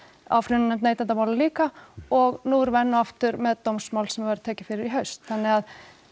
áfrýjunarnefnd neytendamála líka og nú erum við enn og aftur með dómsmál sem verður tekið fyrir í haust þannig að